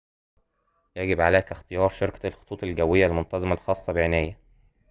يجب عليك اختيار شركة الخطوط الجوية المنتظمة الخاصة بعناية